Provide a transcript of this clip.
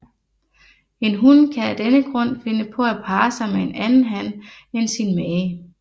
En hun kan af denne grund finde på at parre sig med en anden han end sin mage